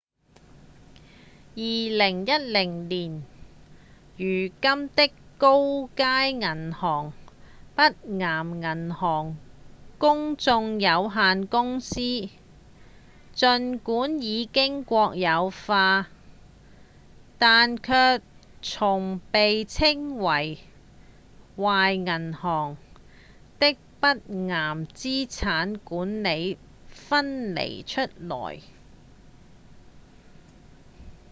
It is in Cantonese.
2010年如今的高街銀行北岩銀行公眾有限公司儘管已經國有化但卻從被稱為「壞銀行」的北岩資產管理分離出來